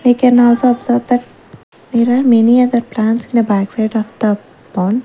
we can also observe that there are many other plants in the backside of the pond.